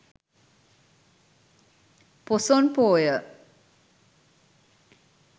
poson poya